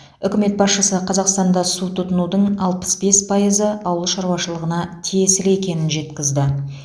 үкімет басшысы қазақстанда су тұтынудың алпыс бес пайызы ауыл шаруашылығына тиесілі екенін жеткізді